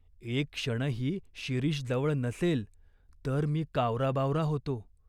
एक क्षणही शिरीष जवळ नसेल, तर मी कावराबावरा होतो.